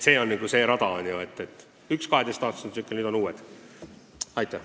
See on nagu see rada, et oli üks 12 aasta pikkune tsükkel, nüüd on uus skeem.